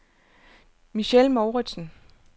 Michelle Mouritsen